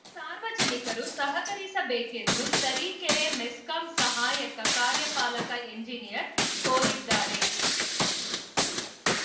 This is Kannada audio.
ಸಾರ್ವಜನಿಕರು ಸಹಕರಿಸಬೇಕೆಂದು ತರೀಕೆರೆ ಮೆಸ್ಕಾಂ ಸಹಾಯಕ ಕಾರ್ಯಪಾಲಕ ಎಂಜಿನಿಯರ್‌ ಕೋರಿದ್ದಾರೆ